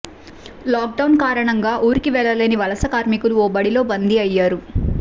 lockdown కారణంగా ఊరికి వెళ్లలేని వలసకార్మికులు ఓ బడిలో బందీ అయ్యారు